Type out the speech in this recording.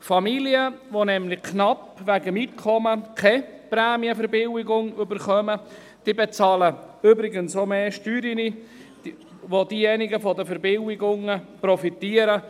Familien, die wegen ihres Einkommens ganz knapp keine Prämienverbilligung erhalten, bezahlen auch mehr Steuern, während diejenigen, die Verbilligungen erhalten, profitieren.